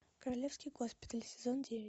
королевский госпиталь сезон девять